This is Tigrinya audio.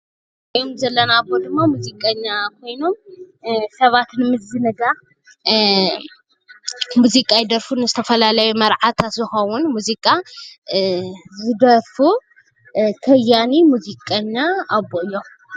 እዞም እንሪኦም ዘለና አቦ ድማ ሙዚቀኛ ኮይኖም ስባት ንምዝንጋዕ ሙዚቃ ይደርፉን ዝተፈላለየ መርዓታት ዝክውን ሙዚቃ ዝደሩፉ ከያኒ ሙዚቀኛ አቦ እዮም፡፡